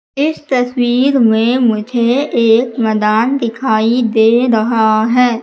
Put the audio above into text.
इस तस्वीर में मुझे एक मैदान दिखाई दे रहा है।